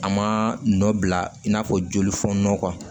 A ma nɔ bila i n'a fɔ jolifɔn